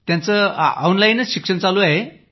त्या ऑनलाईलच शिक्षण घेत आहेत